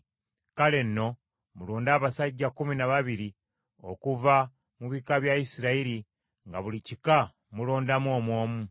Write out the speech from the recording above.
Kale nno mulonde abasajja kkumi na babiri okuva mu bika bya Isirayiri nga buli kika mulondamu omu omu: